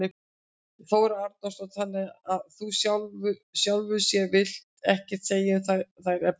Þóra Arnórsdóttir: Þannig að þú í sjálfu sér vilt ekkert segja um þær efnislega?